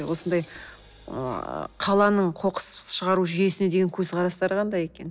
осындай ыыы қаланың қоқысты шығару жүйесіне деген көзқарастары қандай екен